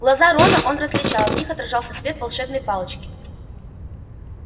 глаза рона он различал в них отражался свет волшебной палочки